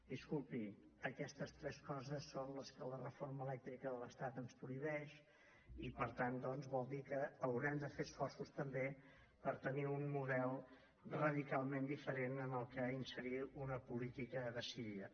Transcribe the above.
disculpi aquestes tres coses són les que la reforma elèctrica de l’estat ens prohibeix i per tant doncs vol dir que haurem de fer esforços també per tenir un model radicalment diferent en què inserir una política decidida